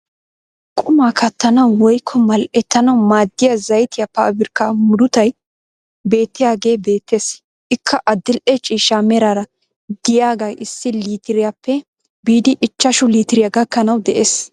Qumaa kattanawu woykko mal"ettanwu maaddiyaa zaytiyaa pabirkkaa murutay beettiyaagee beettees. ikka adil'e ciishsha meraara de'iyaagee issi litiriyaappe biidi ichchashshu litiryaa gakkanawu de'ees.